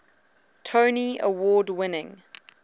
tony award winning